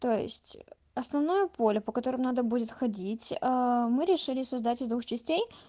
то есть основное поле по которым надо будет ходить мы решили создать из двух частей